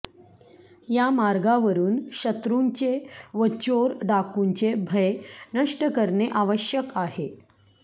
या मार्गावरून शत्रूंचे व चोर डाकूंचे भय नष्ट करणे आवश्यक आहे